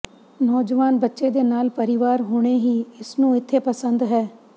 ਨੌਜਵਾਨ ਬੱਚੇ ਦੇ ਨਾਲ ਪਰਿਵਾਰ ਹੁਣੇ ਹੀ ਇਸ ਨੂੰ ਇੱਥੇ ਪਸੰਦ ਹੈ